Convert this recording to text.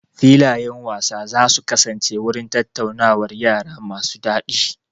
Filayen wasa za su kasance wurin tattaunawar yara masu daɗi.